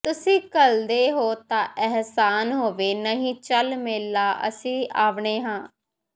ਤੁਸੀਂ ਘੱਲ ਦੇਹੋ ਤਾਂ ਅਹਿਸਾਨ ਹੋਵੇ ਨਹੀਂ ਚੱਲ ਮੇਲਾ ਅਸੀਂ ਆਵਨੇ ਹਾਂ